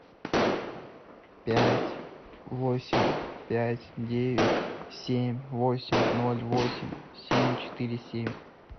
пять восемь пять девять семь восемь ноль восемь семь четыре семь